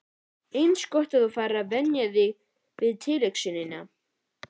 Eins gott þú farir að venja þig við tilhugsunina.